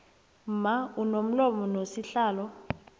mma unomlomo nosihlalo